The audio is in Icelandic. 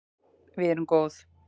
Við erum góð